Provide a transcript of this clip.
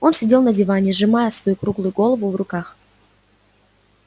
он сидел на диване сжимая свою круглую голову в руках